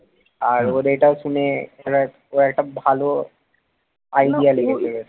আর ওর এটাও শুনে ও একটা ভালো idea লেগেছে।